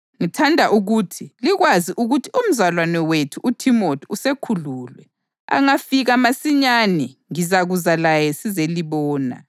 Ngithanda ukuba likwazi ukuthi umzalwane wethu uThimothi usekhululwe. Angafika masinyane ngizakuza laye sizelibona.